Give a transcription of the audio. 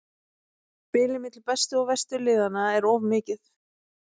Bilið milli bestu og verstu liðanna er of mikið.